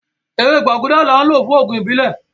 Ẹwẹ̀ gbàgúdà láń lọ́ fún oogun ìbílẹ̀.